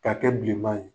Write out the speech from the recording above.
K'a kɛ bilenman ye